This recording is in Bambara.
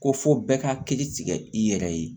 Ko fo bɛɛ ka hakili tigɛ i yɛrɛ ye